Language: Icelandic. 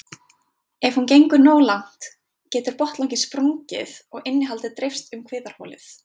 Ef hún gengur nógu langt getur botnlanginn sprungið og innihaldið dreifst um kviðarholið.